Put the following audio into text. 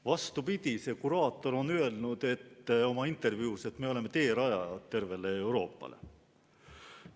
Vastupidi, see kuraator on öelnud oma intervjuus, et me oleme teerajajad tervele Euroopale.